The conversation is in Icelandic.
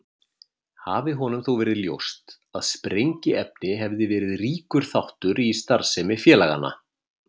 Hafi honum þó verið ljóst að sprengiefni hefði verið ríkur þáttur í starfsemi félaganna.